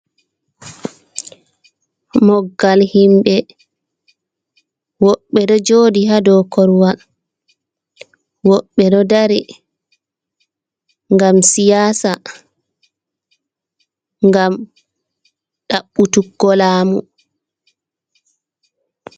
Moggal himbe woɓɓe ɗo joɗi hado korwal woɓɓe ɗo dari gam siyasa gam ɗabbutuggo laamu.